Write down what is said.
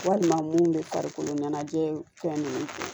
Walima mun bɛ farikolo ɲɛnajɛ fɛn ninnu